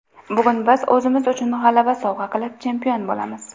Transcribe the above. Bugun biz o‘zimiz uchun g‘alaba sovg‘a qilib, chempion bo‘lamiz!